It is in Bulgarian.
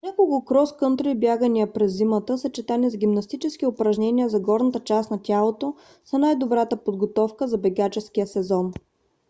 няколко крос кънтри бягания през зимата съчетани с гимнастически упражнения за горната част на тялото са най-добрата подготовка за бегаческия сезон